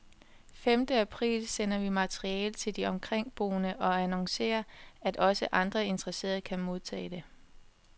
Femte april sender vi materiale til de omkringboende og annoncerer, at også andre interesserede kan modtage det.